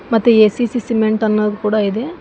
ಮತ್ತೆ A C C cement ಅನ್ನೋದ್ ಕೂಡ ಇದೆ.